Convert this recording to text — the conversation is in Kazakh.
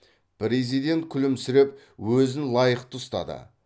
президент күлімсіреп өзін лайықты ұстады